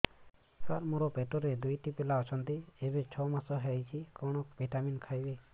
ସାର ମୋର ପେଟରେ ଦୁଇଟି ପିଲା ଅଛନ୍ତି ଏବେ ଛଅ ମାସ ହେଇଛି କଣ ଭିଟାମିନ ଖାଇବି